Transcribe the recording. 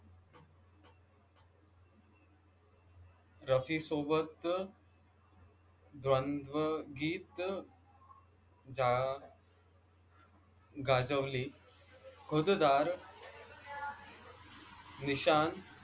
रफीसोबत द्वंद्वगीत गाजवली निशांत